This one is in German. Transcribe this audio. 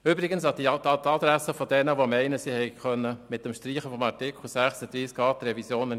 Zuerst sage ich etwas zu Daniel Trüssel: